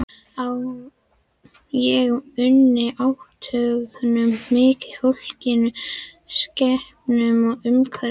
Ég unni átthögunum mikið, fólkinu, skepnunum og umhverfinu.